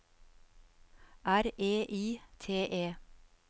R E I T E